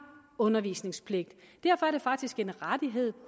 undervisningspligt derfor er det faktisk en rettighed